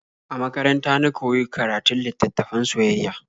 A makaranta na koyi karatun littattafan soyayya.